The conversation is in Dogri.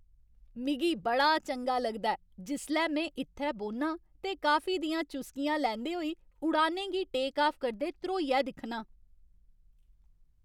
मिगी बड़ा चंगा लगदा ऐ जिसलै में इत्थै बौह्न्नां ते कॉफी दियां चुस्कियां लैंदे होई उड़ानें गी टेक ऑफ करदे ध्रोइयै दिक्खनां।